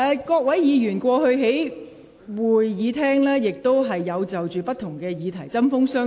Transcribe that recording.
各位議員過去在會議廳也曾就不同議題針鋒相對。